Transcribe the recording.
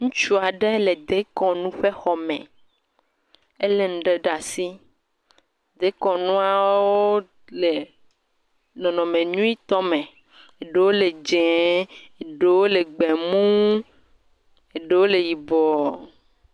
Ŋutsu aɖe le dekɔnu ƒe xɔme. Elé nu ɖe ɖe asi. Dekɔnuawo le nɔnɔme nyuietɔ me, ɖewo le dzɛ̃e, ɖewo le gbemuu, ɖewo le yibɔɔ.